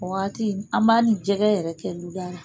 O wagati an b'a ni jɛgɛ yɛrɛ kɛ luda ra